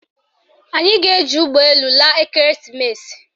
Anyị ga-eji ụgbọelu laa ekereesimesi